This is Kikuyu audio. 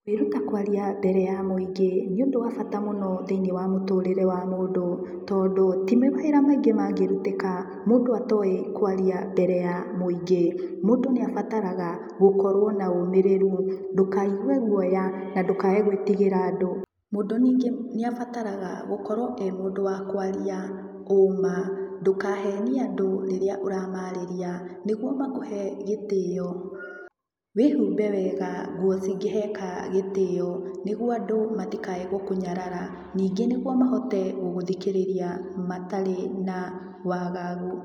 Kwĩruta kwaria mbere ya mũingĩ, nĩũndũ wa bata mũno thĩ-inĩ wa mũtũrĩre wa mũndũ tondũ ti mawĩra maingĩ mangĩrutĩka, mũndũ atoĩ kwaria mbere ya mũingĩ. Mũndũ nĩ abataraga gũkorwo na ũmĩrĩru, ndũkaigue guoya na ndũkae gwĩtigĩra andũ. Mũndũ ningĩ nĩabataraga gũkorwo e mũndũ wa kwaria ũma, ndũkahenie andũ rĩrĩa ũramarĩria nĩguo makũhe gĩtĩo. Wĩhumbe wega nguo cingĩheka gĩtĩo, nĩguo andũ matikae gũkũnyarara, ningĩ nĩguo mahote gũgũthikĩrĩria matarĩ na wagagu.